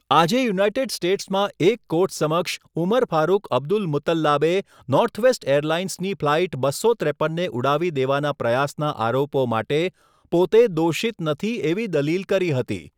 આજે યુનાઇટેડ સ્ટેટ્સમાં એક કોર્ટ સમક્ષ ઉમર ફારુક અબ્દુલમુતલ્લાબે નોર્થવેસ્ટ એરલાઇન્સની ફ્લાઇટ બસો ત્રેપનને ઉડાવી દેવાના પ્રયાસના આરોપો માટે પોતે 'દોષિત નથી' એવી દલીલ કરી હતી.